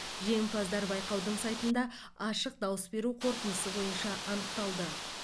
жеңімпаздар байқаудың сайтында ашық дауыс беру қорытындысы бойынша анықталды